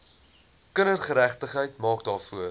kindergeregtigheid maak daarvoor